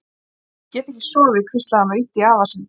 Afi, ég get ekki sofið hvíslaði hún og ýtti í afa sinn.